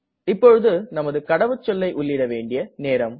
இப்போது நமது கடவுச்சொல்லை உள்ளிட வேண்டிய நேரம்